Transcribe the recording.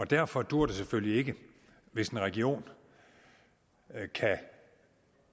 derfor duer det selvfølgelig ikke hvis en region kan